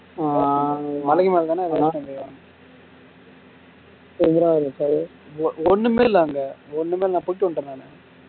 ஆஹ் மலைக்குமேலதான ஒன்னுமே இல்ல அங்க ஒன்னு இல்ல போய்ட்டு வந்துட்டேன் நானு